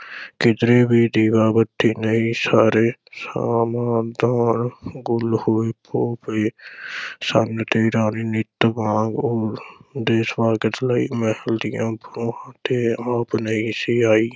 ਕਿਧਰੇ ਵੀ ਦੀਵਾ ਬੱਤੀ ਨਹੀਂ, ਸਾਰੇ ਸ਼ਮ੍ਹਾਦਾਨ ਗੁੱਲ ਹੋਏ ਹੋ ਪਏ ਸਨ ਤੇ ਰਾਣੀ ਨਿੱਤ ਵਾਂਗ ਉਹਦੇ ਸਵਾਗਤ ਲਈ ਮਹਿਲ ਦੀਆਂ ’ਤੇ ਆਪ ਨਹੀਂ ਸੀ ਆਈ।